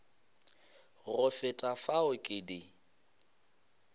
go feta fao ke di